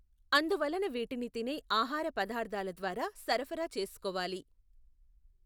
అందువలన వీటిని తినే ఆహార పదార్ధాల ద్వారా సరఫరా చేసుకోవాలి.